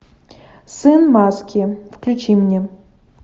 сын маски включи мне